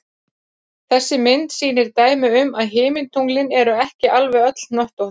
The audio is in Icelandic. Þessi mynd sýnir dæmi um að himintunglin eru ekki alveg öll hnöttótt.